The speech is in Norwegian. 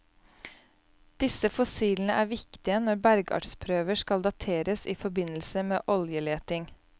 Disse fossilene er viktige når bergartsprøver skal dateres i forbindelse med oljeleting.